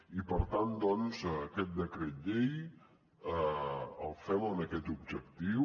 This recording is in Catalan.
i per tant doncs aquest decret llei el fem amb aquest objectiu